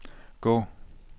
gå